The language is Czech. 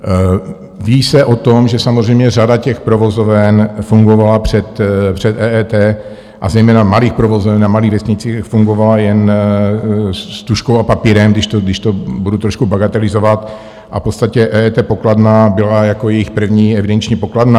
Ví se o tom, že samozřejmě řada těch provozoven fungovala před EET, a zejména malých provozoven na malých vesnicích, fungovala jen s tužkou a papírem, když to budu trošku bagatelizovat, a v podstatě EET pokladna byla jako jejich první evidenční pokladna.